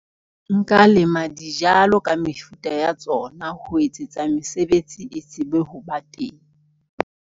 Nka lema dijalo ka mefuta ya tsona. Ho etsetsa mesebetsi e tsebe ho ba teng.